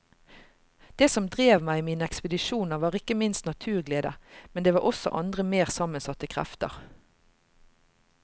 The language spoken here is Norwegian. Det som drev meg i mine ekspedisjoner var ikke minst naturglede, men det var også andre mer sammensatte krefter.